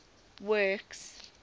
works